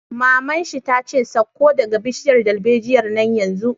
Maman shi ta ce 'Sauko daga bishiyar dalbejiyar nan yanzu'!